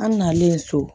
An nalen so